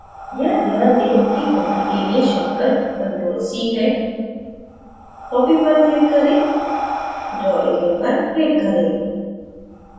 यहां ध्यान दें कि copy के लिए shortcut ctrl + c है copy पर click करें draw area पर click करें